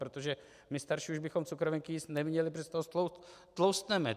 Protože my starší už bychom cukrovinky jíst neměli, protože z toho tloustneme.